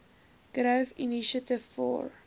growth initiative for